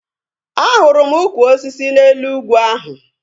Ahụrụ m ụkwụ osisi n'elu ugwu ahu